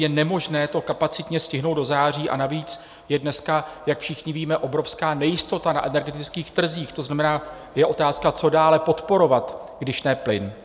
Je nemožné to kapacitně stihnout do září, a navíc je dneska, jak všichni víme, obrovská nejistota na energetických trzích, to znamená, je otázka, co dále podporovat, když ne plyn.